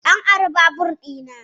An ari babur ɗina